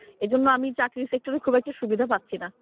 এজন্য আমি চাকরি sector এ খুব একটা সুবিধা পাচ্ছিনা।